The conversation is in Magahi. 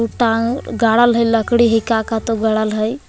टांग गाड़ल हइ लकड़ी हइ का का त गाड़ल हइ।